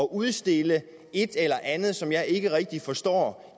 udstille et eller andet som jeg ikke rigtig forstår